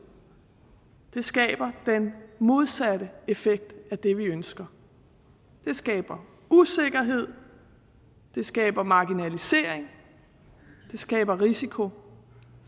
skaber den modsatte effekt af det vi ønsker det skaber usikkerhed det skaber marginalisering det skaber risiko